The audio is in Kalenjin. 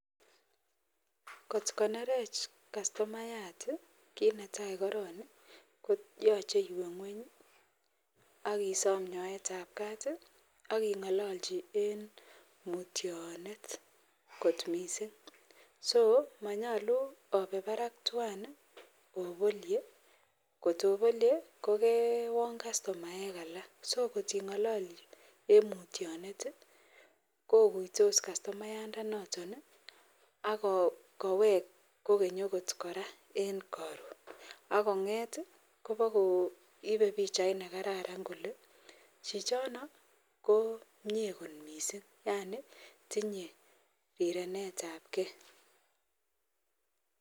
Kot konerech kastomayat konetai korong koyache iwe ngweny akisom nyoet ab Kat akingalanchi en mutyonet kot mising akomanyalu obe Barak twan obolie kotobolie kokewon kastomaek alak so kotingalalchi en mutyonet koguiyos kastomayat inoton akowek gogeny okot koraa en Karon akonget kowakoibe bichait Nigam nekararan Kole chichono ko Mie kot mising Yani tinye rirenet ab gei